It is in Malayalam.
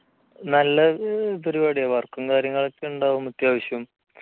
നല്ല പരിപാടിയാ work കാര്യങ്ങളും ഒക്കെ ഉണ്ടാവും അത്യാവശ്യം